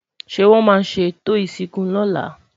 ṣé wón má sé eto ìsìnkú lọla?